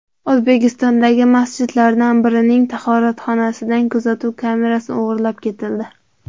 O‘zbekistondagi masjidlardan birining tahoratxonasidan kuzatuv kamerasi o‘g‘irlab ketildi.